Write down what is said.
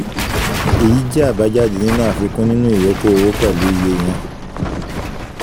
èyí jẹ́ àbájáde nínú àfikún nínú ìyókù owó pẹ̀lú iye yẹn